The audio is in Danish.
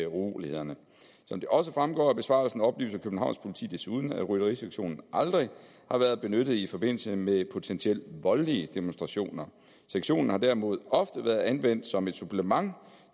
urolighederne som det også fremgår af besvarelsen oplyser københavns politi desuden at rytterisektionen aldrig har været benyttet i forbindelse med potentielt voldelige demonstrationer sektionen har derimod ofte været anvendt som et supplement